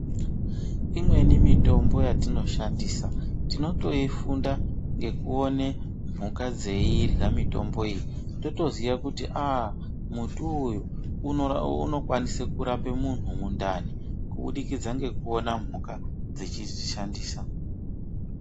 Imweni mitombo yatinoshandisa tinotoifunda ngekuone mhuka dzeirya mitombo iyi, totoziya kuti aa muti uyu unokwanise kurape munhu mundani kubudikidza nekuona mhuka dzechizvi shandisa.